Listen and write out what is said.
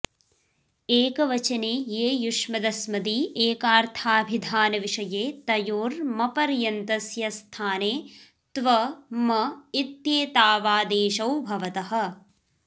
एकवचने ये युष्मदस्मदी एकार्थामिधानविषये तयोर् मपर्यन्तस्य स्थाने त्व म इत्येतावादेशौ भवतः